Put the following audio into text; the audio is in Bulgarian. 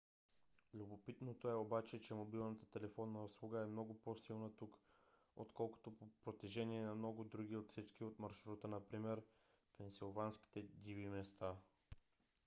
любопитното е обаче че мобилната телефонна услуга е много по - силна тук отколкото по протежение на много други отсечки от маршрута например пенсилванските диви места